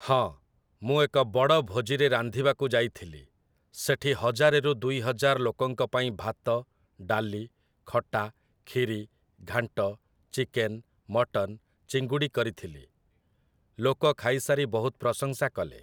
ହଁ ମୁଁ ଏକ ବଡ଼ ଭୋଜିରେ ରାନ୍ଧିବାକୁ ଯାଇଥିଲି । ସେଠି ହଜାରେରୁ ଦୁଇ ହଜାର ଲୋକଙ୍କ ପାଇଁ ଭାତ, ଡାଲି, ଖଟା, ଖିରୀ, ଘାଣ୍ଟ, ଚିକେନ, ମଟନ, ଚିଙ୍ଗୁଡ଼ି କରିଥିଲି । ଲୋକ ଖାଇସାରି ବହୁତ ପ୍ରଶଂସା କଲେ ।